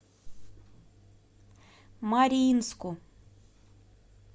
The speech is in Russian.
мариинску